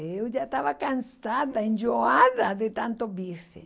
Eu já estava cansada, enjoada de tanto bife.